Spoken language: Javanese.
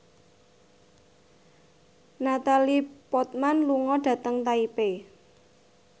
Natalie Portman lunga dhateng Taipei